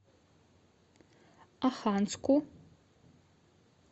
оханску